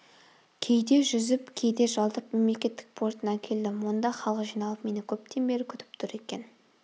кейде жүзіп кейде жалдап мемлекеттік портына келдім онда халық жиналып мені көптен бері күтіп тұр екен